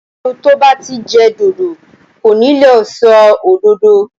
Ẹnu tó bá ti jẹ dòdò kò ní le sọ òdodo.